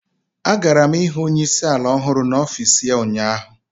Agara m hụ onye isi ala ọhụrụ n'ọfịs ya ụnyaahụ.